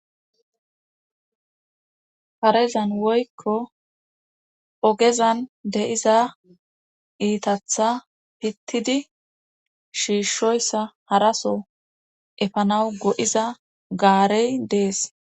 karezan woykko ogezan de7iza iithathaa pittidi shiishshyssa haraso efanawu go7iza gaarey de7es.